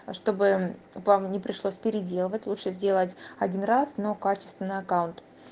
а чтобы вам не пришлось переделывать лучше сделать один раз но качественный аккаунт